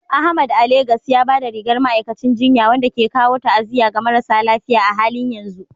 Ahmad a Legas ya ba da rigar ma'aikacin jinya, wanda ke kawo ta'aziyya ga marasa lafiya a halin yanzu.